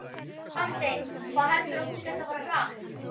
Hafsteinn: Hvað heldurðu að þú sért að fara hratt?